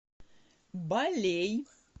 балей